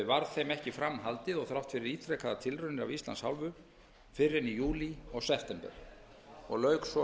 þeim ekki fram haldið þrátt fyrir ítrekaðar tilraunir af íslands hálfu fyrr en í júlí og september og lauk svo